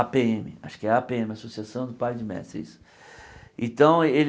á pê ême, acho que é á pê ême, Associação de Pais e Mestres, isso então ele.